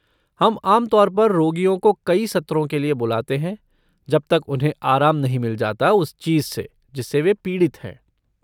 हम आम तौर पर रोगियों को कई सत्रों के लिए बुलाते है जब तक उन्हें आराम नहीं मिल जाता उस चीज से, जिससे वे पीड़ित हैं।